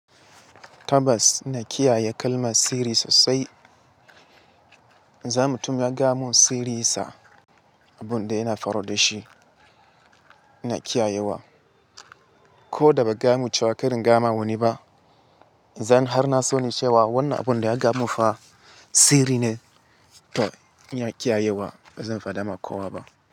Tabas ina kiyaye kalmar sirri sosai. Za mutum ya gaya mun sirri sa, abunda yana faro da shi ina kiyayewa. Ko da baka ga ya mun cewa kar in gayawa wani ba, idan har na sani cewa wannan abunda ya gaya mun fa sirri ne to ina kiyayewa, ba zan faɗa ma kowa ba.